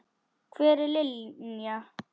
Hver er Linja?